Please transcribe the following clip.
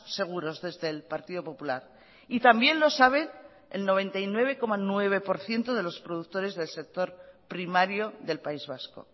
seguros desde el partido popular y también lo sabe el noventa y nueve coma nueve por ciento de los productores del sector primario del país vasco